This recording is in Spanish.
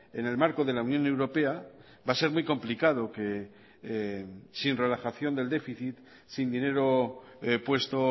en el marco de la unión europea va a ser muy complicado que sin relajación del déficit sin dinero puesto